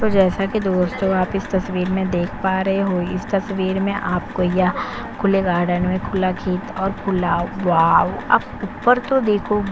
जैसा कि दोस्तों आप इस तस्वीर में देख पा रहे हो इस तस्वीर में आपको यह खुले गार्डन में खुला खेत और खुला वाओ आप ऊपर तो देखो --